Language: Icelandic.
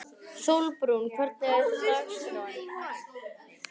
Sólbrún, hvernig er dagskráin?